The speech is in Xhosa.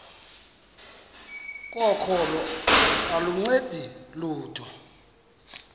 kokholo aluncedi lutho